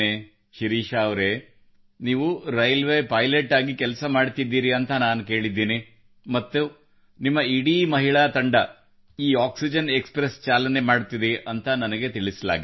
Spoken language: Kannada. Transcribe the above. ಶಿರೀಷಾ ಅವರೆ ನೀವು ರೈಲ್ವೇ ಪೈಲಟ್ ಆಗಿ ಕೆಲಸ ಮಾಡುತ್ತಿದ್ದೀರೆಂದು ನಾನು ಕೇಳಿದ್ದೇನೆ ಮತ್ತು ನಿಮ್ಮ ಇಡೀ ಮಹಿಳಾ ತಂಡ ಈ ಆಕ್ಸಿಜನ್ ಎಕ್ಸ್ ಪ್ರೆಸ್ ಚಾಲನೆ ಮಾಡುತ್ತಿದೆಯೆಂದು ನನಗೆ ತಿಳಿಸಲಾಗಿದೆ